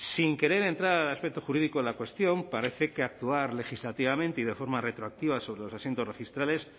sin querer entrar al aspecto jurídico de la cuestión parece que actuar legislativamente y de forma retroactiva sobre los asientos registrales